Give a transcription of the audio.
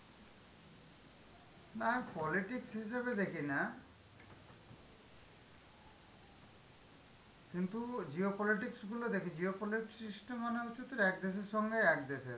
না politics হিসেবে দেখিনা, কিন্তু geopolitics গুলো দেখি, geopolitis~ system মানে হচ্ছে তোর এক দেশের সঙ্গে এক দেশের.